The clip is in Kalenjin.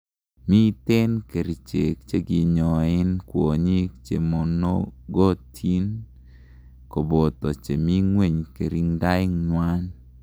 miten kerichek chekinyoen kwonyik chemonogotin koboto chemingweny kiringdaenywan